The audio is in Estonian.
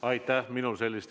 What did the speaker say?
Aitäh!